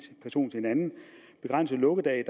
person til en anden begrænse lukkedage i